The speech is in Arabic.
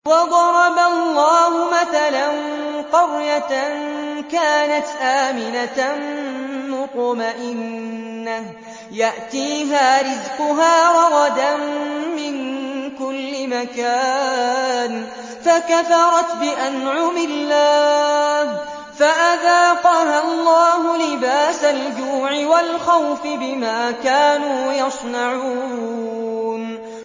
وَضَرَبَ اللَّهُ مَثَلًا قَرْيَةً كَانَتْ آمِنَةً مُّطْمَئِنَّةً يَأْتِيهَا رِزْقُهَا رَغَدًا مِّن كُلِّ مَكَانٍ فَكَفَرَتْ بِأَنْعُمِ اللَّهِ فَأَذَاقَهَا اللَّهُ لِبَاسَ الْجُوعِ وَالْخَوْفِ بِمَا كَانُوا يَصْنَعُونَ